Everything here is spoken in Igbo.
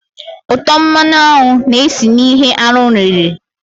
Útọ̀ mmanụ aṅụ na-esi na ihe anụ riri